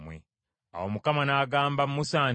Awo Mukama n’agamba Musa nti,